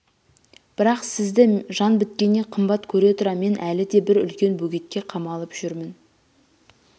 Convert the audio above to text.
бірақ сізді жан біткеннен қымбат көре тұра мен әлі де бір үлкен бөгетке қамалып жүрмін